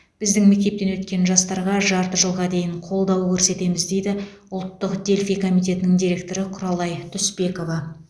біздің мектептен өткен жастарға жарты жылға дейін қолдау көрсетеміз дейді ұлттық дельфий комитетінің директоры құралай түспекова